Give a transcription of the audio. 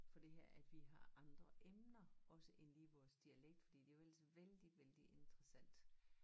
For det her at vi har andre emner også end lige vores dialekt for det jo ellers vældig vældig interessant